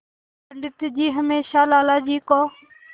पंडित जी हमेशा लाला जी को